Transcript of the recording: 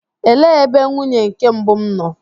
Elee ebe nwunye nke mbụ m nọ?